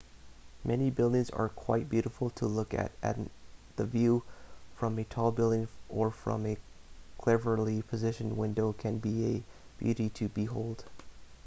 many buildings are quite beautiful to look at and the view from a tall building or from a cleverly-positioned window can be a beauty to behold